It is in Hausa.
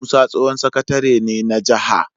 Musa tsohon sakatare ne na jaha